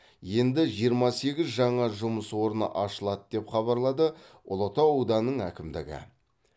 енді жиырма сегіз жаңа жұмыс орны ашылады деп хабарлады ұлытау ауданының әкімдігі